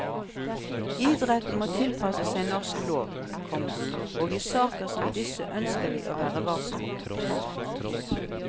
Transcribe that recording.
Idretten må tilpasse seg norsk lov, komma og i saker som disse ønsker vi å være varsomme. punktum